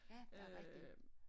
Ja der rigtig hyggeligt